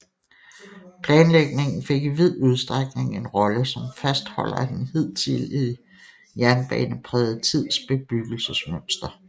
Planlægningen fik i vid udstrækning en rolle som fastholder af den hidtidige jernbaneprægede tids bebyggelsesmønster